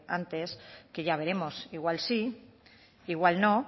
antes que ya veremos igual sí igual no